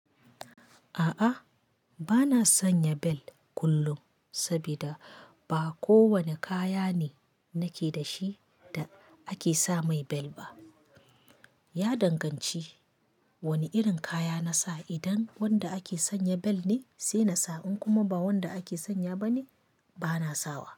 A'a bana sanya belt kullum sabida ba kowanne kaya ne nake da shi da ake sa mai bel ba. Ya danganci wanne irin kaya nasa. Idan wanda ake sanya bel ne sai nasa in kuma ba wanda ake sanya ba ne bana sawa.